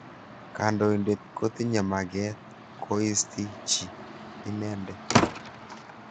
Kandoindet kotinye maket koisti chi inendet.